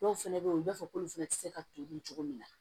Dɔw fɛnɛ be ye u b'a fɔ k'olu fɛnɛ te se ka to dun cogo min na